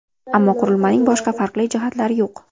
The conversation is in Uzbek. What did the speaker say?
Ammo qurilmaning boshqa farqli jihatlari yo‘q.